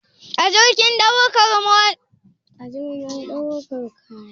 A jirgin daukar kaya za a kawo maka motarka?